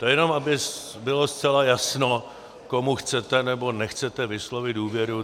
To jenom aby bylo zcela jasno, komu chcete nebo nechcete vyslovit důvěru.